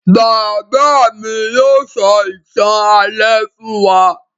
Bàbá mi yóò sọ ìtàn alẹ́ fún wa